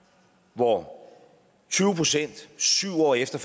hvor tyve pct syv år efter